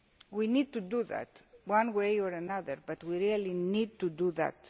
We need to do that one way or another, but we really need to do that.